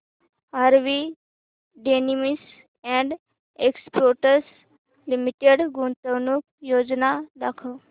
RV denims and exports limited गुंतवणूक योजना दाखव